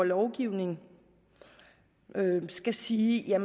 lovgiver skal sige at